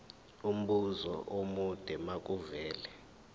umbuzo omude makuvele